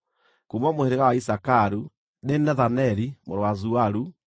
kuuma mũhĩrĩga wa Isakaru, nĩ Nethaneli mũrũ wa Zuaru;